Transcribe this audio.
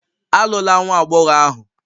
Alụla nwa agbọghọ ahụ!